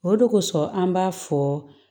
O de kosɔn an b'a fɔ